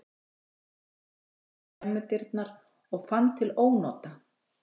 Hún leit út um skemmudyrnar og fann til ónota.